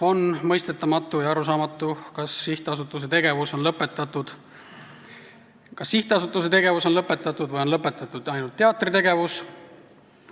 On mõistetamatu ja arusaamatu, kas sihtasutuse tegevus on lõpetatud või on lõpetatud ainult teatri tegevus.